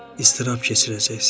İstırap keçirəcəksən.